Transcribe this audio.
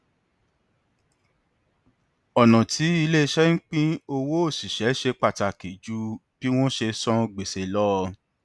ọnà tí iléiṣẹ ń pín owó òṣìṣẹ ṣe pàtàkì ju bí wọn ṣe san gbèsè lọ